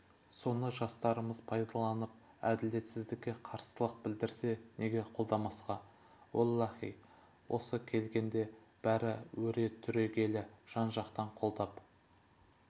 соны жастарымыз пайдаланып әділетсіздікке қарсылық білдірсе неге қолдамасқа оллаһи осы келгенде бәрі өре түрегеле жан-жақтан қолдап